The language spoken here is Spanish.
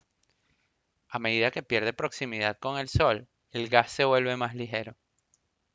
a medida que pierde proximidad con el sol el gas se vuelve más ligero